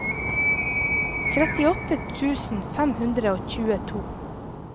trettiåtte tusen fem hundre og tjueto